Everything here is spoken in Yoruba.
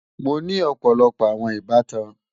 Mọ ní ọpọlọpọ awọn ìbàtàn.